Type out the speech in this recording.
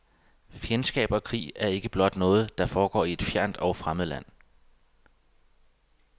Fjendskab og krig er ikke blot noget, der foregår i et fjernt og fremmed land.